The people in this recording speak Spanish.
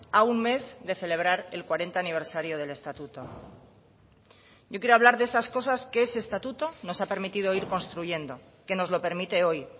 a un mes de celebrar el cuarenta aniversario del estatuto yo quiero hablar de esas cosas que ese estatuto nos ha permitido ir construyendo que nos lo permite hoy